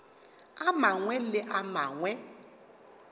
a mangwe le a mangwe